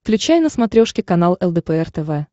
включай на смотрешке канал лдпр тв